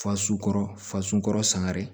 Faso kɔrɔ fasugu sangare